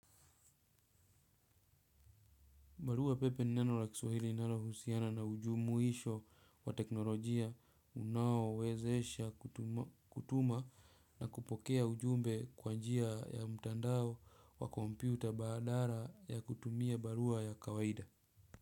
Barua pepe ni neno la kiswahili linalohusiana na ujumuisho wa teknolojia unaowezesha kutuma na kupokea ujumbe kwa njia ya mtandao wa kompyuta badala ya kutumia barua ya kawaida.